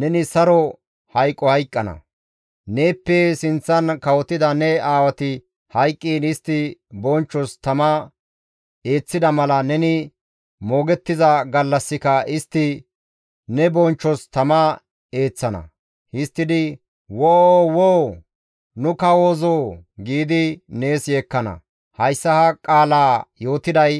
neni saro hayqo hayqqana; neeppe sinththan kawotida ne aawati hayqqiin istti bonchchos tama eeththida mala neni moogettiza gallassika istti ne bonchchos tama eeththana; histtidi «Woo! Woo! Nu kawozoo!» giidi nees yeekkana; hayssa ha qaalaa yootiday